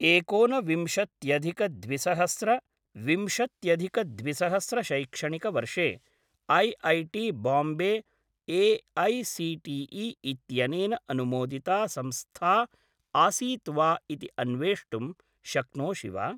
एकोनविंशत्यधिक द्विसहस्र विंशत्यधिक द्विसहस्र शैक्षणिकवर्षे ऐऐटी बाम्बे ए.ऐ.सी.टी.ई. इत्यनेन अनुमोदिता संस्था आसीत् वा इति अन्वेष्टुं शक्नोषि वा?